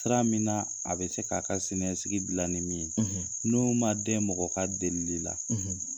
Sira min na a bɛ se k'a ka siniɲɛsigi gila ni min ye n'o ma dɛn mɔgɔ ka delili la.